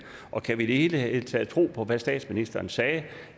og kan vi i det hele taget tro på hvad statsministeren sagde